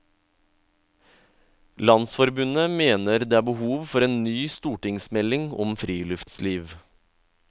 Landsforbundet mener det er behov for en ny stortingsmelding om friluftsliv.